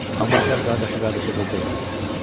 Amma gəl qardaşı qardaşa qırdırmayaq.